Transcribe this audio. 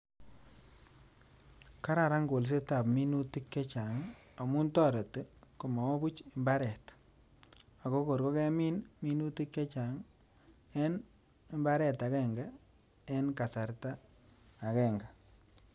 Kararan kolset tab minutik chechang amun toreti komowo buch imbaret ako kor kokemin minutik chechang en imbaret agenge en kasarta agenge.